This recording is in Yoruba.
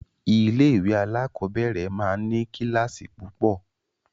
Ilé-ìwé alákọ̀ọ́bẹ̀rẹ̀ máa ń ní kíláàsì púpọ̀.